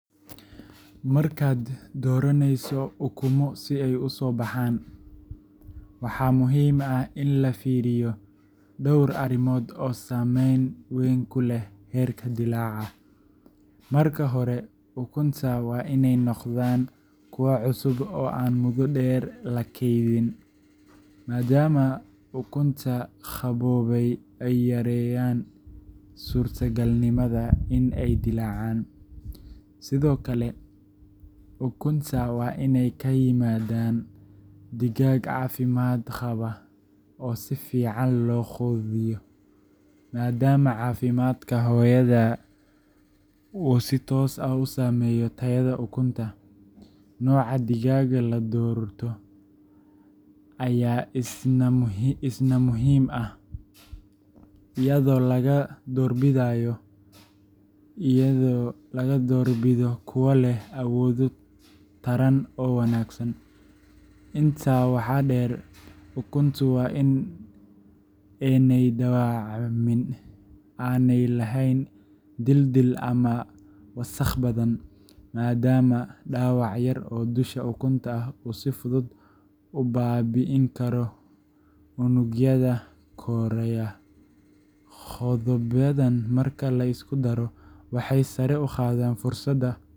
Markad doraneyso ukumo si ay usobaha waxa muxiim ah in lafiriyo door arimod oo sameyn weyn kuleh herka dilaca, marka hore ukunta wa inay n9gdan kuwa cusub oo muda deer lakeydin, maadama ukunta qabobey ay yareyan surta gaalnimada in ay dilacan, Sidhokale ukunta wa inay kayimadan digag cafimad gawaa oo sifican oo qudiyo maadamu cafimadka hoyada uu si toos ah usameyo tayada ukunta, noca digaaga ladorto aya isna muxiim ah iyado alagdorbidayo kuwa leh awodo taran oo wanagsan inta waha deer ukuntu wa in ay dawacmin, ayna lehen dildil ama wasaq badan madama dawac yar oo dusha ukunta uu sifudud ubabiinikaro unugyada koreya qodabadan marki liskudaro waxay sare ugadan fursada.